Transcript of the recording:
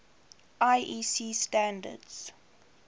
iec standards